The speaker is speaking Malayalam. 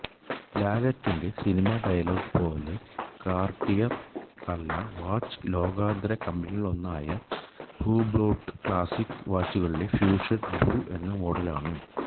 ലാലേട്ടന്റെ സിനിമാ ഡയലോഗ് പോലെ കാര്ട്ടിയറല്ല വാച്ച് ലോകോത്തര കമ്പനികളിലൊന്നായ ഹുബ്ലോട്ട് ക്ലാസിക് വാച്ചുകളിലെ ഫ്യൂഷൻ ബ്ല്യൂ എന്ന മോഡലാണു